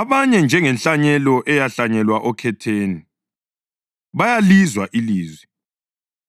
Abanye, njengenhlanyelo eyahlanyelwa okhetheni bayalizwa ilizwi